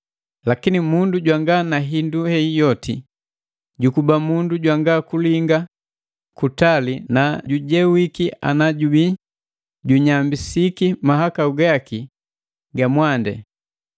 Lakini mundu jwanga na hindu hei yoti jukuba mundu jwanga kulinga, jukuba mundu jwanga kulinga kutali na jujewiki ana jabiya junyambisiki mahakau gaki ga mwandi.